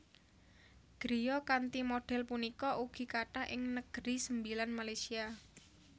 Griya kanthi modhél punika ugi kathah ing Negeri Sembilan Malaysia